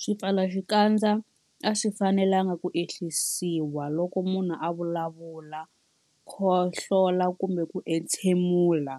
Swipfalaxikandza a swi fanelanga ku ehlisiwa loko munhu a vulavula, khohlola kumbe ku entshemula.